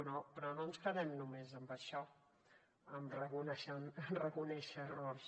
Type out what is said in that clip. però no ens quedem només amb això en reconèixer errors